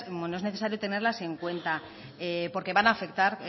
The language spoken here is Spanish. es necesario tenerlas en cuenta porque van a afectar